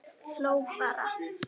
Hló bara.